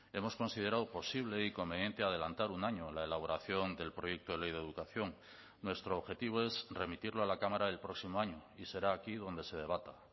hemos considerado posible y conveniente adelantar un año la elaboración del proyecto de ley de educación nuestro objetivo es remitirlo a la cámara el próximo año y será aquí donde se debata